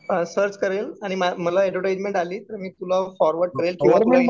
Search करेल आणि मला ऍडव्हर्टाइझमेंट आली. कि मी तुला फॉरवर्ड करेल.